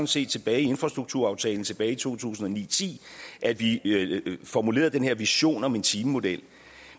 set med infrastrukturaftalen tilbage i to tusind og ni til ti at vi formulerede den her vision om en timemodel